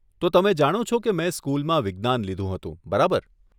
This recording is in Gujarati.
તો તમે જાણો છો કે મેં સ્કુલમાં વિજ્ઞાન લીધું હતું, બરાબર?